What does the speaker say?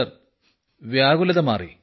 sir വ്യാകുലത മാറി